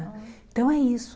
Então é isso.